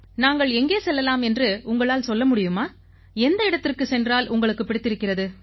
நாங்கள் எங்கே செல்லலாம் என்று உங்களால் சொல்ல முடியுமா எந்த இடத்துக்குச் சென்றால் உங்களுக்கு பிடித்திருக்கிறது